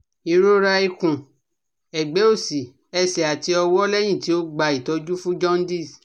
irora ikun egbe osi, ese ati owo lehin ti o gba itoju fun juandice